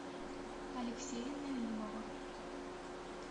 алексея налимова